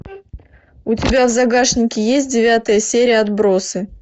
у тебя в загашнике есть девятая серия отбросы